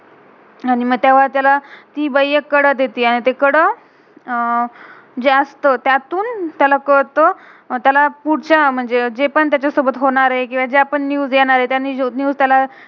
आणि मग तेव्हा त्याला, ती बाई एक कड़ा देते, आणि ते कड़ा अह जास्त त्यातून त्याला कलत, आणि पुड्च्या म्हणजे जे पण तेच्यासोबत होनारय किव्हा ज्या पण न्यूज़ news येणारेत. न्यूज़ news त्याला